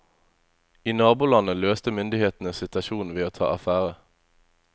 I nabolandet løste myndighetene situasjonen ved å ta affære.